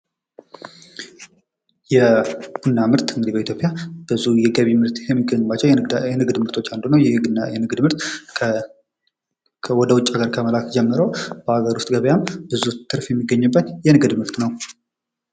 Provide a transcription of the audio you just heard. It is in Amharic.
የቡና ምርት እንግዲህ በኢትዮጵያ ብዙ የገቢ ምርት ከሚገኝባቸው የንግድ ምርቶች አንዱ ነው::ይህ የንግድ ምርት ከወደ ውጪ ከመላክ ጀምሮ በአገር ውስጥ ገበያም ብዙ ትርፍ የሚገኝበት የንግድ ምርት ነው ::